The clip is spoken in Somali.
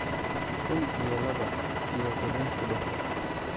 kun iyo laba iyo toban ku dhufo